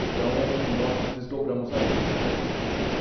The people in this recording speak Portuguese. Então, nós nos desdobramos ali.